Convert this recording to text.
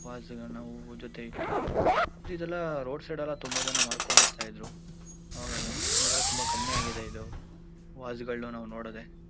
ವಾಸ್ಗಳನ್ನು ನಾವು ಜೊತೆ ಇಟ್ಟಿ ಮತ್ತು ಇದೆಲ್ಲ ರೋಡ್ ಸೈಡ್ ಎಲ್ಲಾ ತುಂಬಾ ಜನ ಮಾರ್ಕೊಂಡ್ ಬರ್ತಾ ಇದ್ರು ಅವೆಲ್ಲಾ ಇವಾಗೆಲ್ಲ ತುಂಬಾ ಕಮ್ಮಿ ಆಗಿದೆ ಇದು ವಾಸ್ಗಳನು ನಾವು ನೋಡೋದೇ .